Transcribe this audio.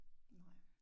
Nej